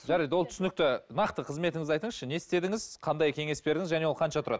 жарайды ол түсінікті нақты қызметіңізді айтыңызшы не істедіңіз қандай кеңес бердіңіз және ол қанша тұрады